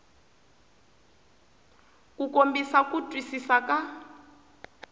ku kombisa ku twisisa ka